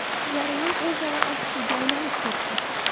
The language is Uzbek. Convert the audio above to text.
Jarayon o‘zaro aytishuvga aylanib ketdi.